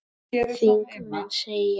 Þingmenn segja þá vinnu eftir.